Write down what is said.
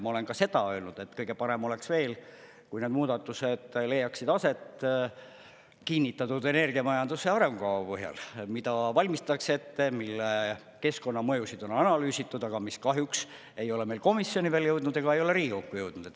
Ma olen ka seda öelnud, et kõige parem oleks veel, kui need muudatused leiaksid aset kinnitatud energiamajanduse arengukava põhjal, mida valmistatakse ette, mille keskkonnamõjusid on analüüsitud, aga mis kahjuks ei ole meil komisjoni veel jõudnud ega ei ole Riigikokku jõudnud.